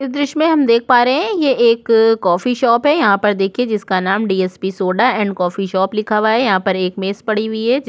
इस दृश्य में हम देख पा रहै हैं ये एक कॉफी शॉप है यहाँ पर देखिए जिसका नाम DSP soda and coffee shop लिखा हुआ है यहाँ पर एक मेज पड़ी हुई है।